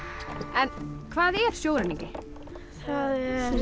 en hvað er sjóræningi það